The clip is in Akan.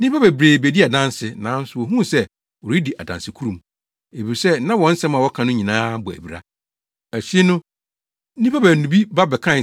Nnipa bebree bedii adanse, nanso wohuu sɛ wɔredi adansekurumu, efisɛ na wɔn nsɛm a wɔka no nyinaa bɔ abira. Akyiri no, nnipa baanu bi ba bɛkae